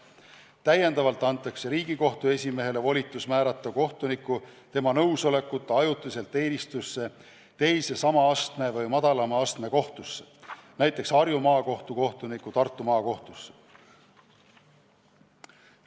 Täiendavalt antakse Riigikohtu esimehele volitus määrata kohtunik tema nõusolekuta ajutiselt teenistusse teise sama astme või madalama astme kohtusse, näiteks Harju Maakohtu kohtunik Tartu Maakohtusse.